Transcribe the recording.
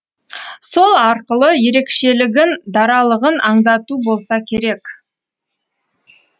сол арқылы ерекшелігін даралығын аңдату болса керек